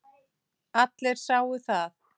Allir sáu það.